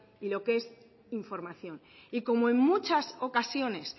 y lo que es información y como en muchas ocasiones